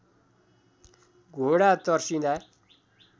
घोडा तर्सिँदा